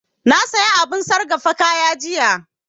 Na saya abun sargafa kaya jiya